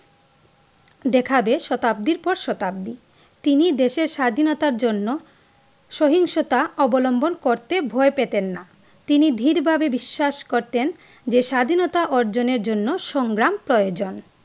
দেখাবে শতাব্দীর পর শতাব্দী তিনি দেশের স্বাধীনতার জন্য সহিংসতা অবলম্বন করতে ভয় পেতেন না তিনি দৃঢ়ভাবে বিশ্বাস করতেন যে স্বাধীনতা অর্জনের জন্য সংগ্রাম প্রয়োজন।